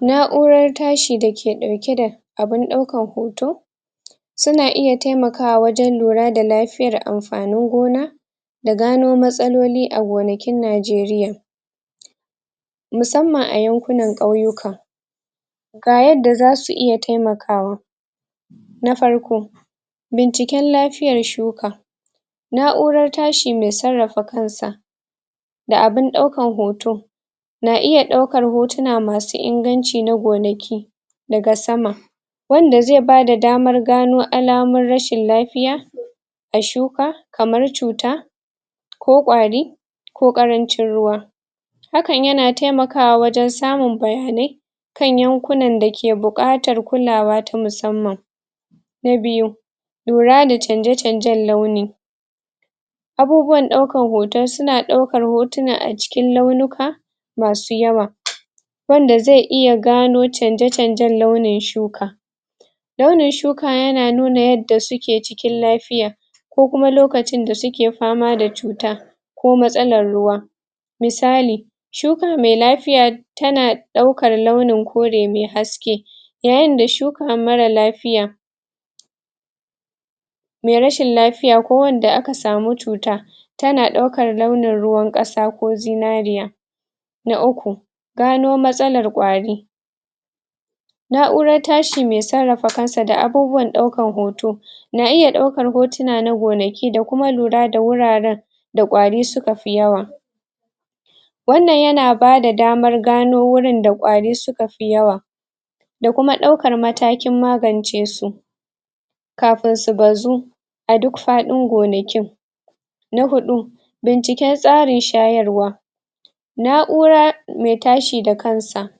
Nauran tashi da ke dauke da abun daukan hoto su na iya taimakawa wajen lura da lafiyar amfanin gona da gano matsaloli a gonakin Najeriya. musamman a yanƙunan kauyuka ga yadda za su iya taimakawa na farko binciker lafiyar shuka nauran tashi mai tsarafa kansa da abun daukan hoto na iya daukar hotuna ma su inganci na gonaki da ga sama wanda zai ba da damar gano alamur rashin lafiya a shuka, kamar cuta ko kwari ko karancin ruwa hakan ya na taimakawa wajen samun bayane kan yankunan da ke bukatar kullawa ta musamman. Na biyu lura da canje-canjen launi, abubuwan daukan hoto su na daukar hotuna a cikin lauluka masu yawa wanda zai iya gano canje-canjen launin shuka launin shuka ya na nuna yadda su ke cikin lafiya ko kuma lokacin da su ke fama da cuta ko matsalar ruwa misali, shuka mai lafiya ta na daukar launi haske yayin da shuka mara lafiya. Mai rashin lafiya ko wanda a ka samu cuta ta na daukar launan ruwan kasa ko zinariya na uku, gano matsalar kwari naurar tashi mai tsarafa kansa da abubuwar daukan hoto na iya daukar hotuna na gonaki da kuma lura da wuraren da kwari su ka fi yawa. Wannan ya na ba da damar gano wurin da kwarin su ka fi yawa da kuma daukar matakin magance su kafun su bazzu, a duk fadin gonakin na hudu, binciken tsarin shayarwa naura, mai tashi da kansa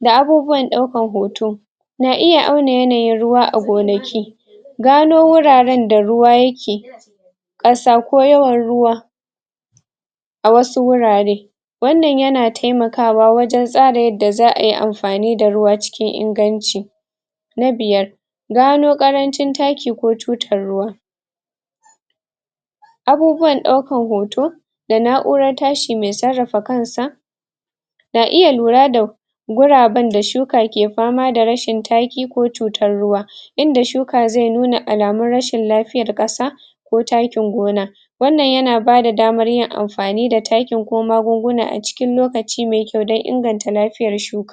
da abubuwan daukan hoto na iya auna yanayin ruwa a gonaki gano wuraren da ruwa ya ke kasa ko yawan ruwa a wasu wurare, wannan ya na taimakawa wajen tsara yadda zaa yi amfani da ruwa cikin inganci na biyar, gano karancin takki ko tuttar ruwa abubuwan daukan hoto da naurar tashi mai tsarafa kansa ga iya lura da gurabin da shuka ke fama da rashin takki ko cutar ruwa inda shuka zai nuna alamun rashin lafiyar kasa ko takkin gona. Wannan ya na ba da damar yin amfani da takkin ko magunguna a cikin lokaci mai kyau don inganta lafiyar shuka.